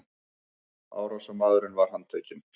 Árásarmaðurinn var handtekinn